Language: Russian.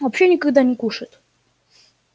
вообще никогда не кушает